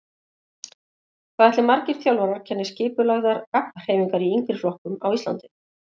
Hvað ætli margir þjálfarar kenni skipulagðar gabbhreyfingar í yngri flokkum á Íslandi?